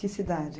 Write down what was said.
Que cidade?